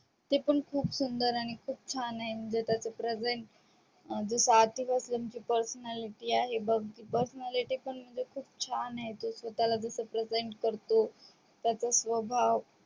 ते पण खूप सुंदर आणि खूप छान आहे म्हणजे present त्याची starting पासून ची personality म्हणजे म्हणजे खूप छान आहे तो स्वतःला जस present करतो त्याचा स्वभाव